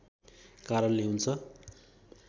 कारणले हुन्छ